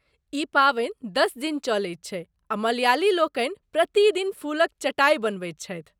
ई पावनि दश दिन चलैत छै आ मलयालीलोकनि प्रति दिन फूलक चटाइ बनबैत छथि।